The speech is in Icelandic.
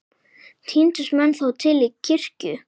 Tíndust menn þá til kirkju.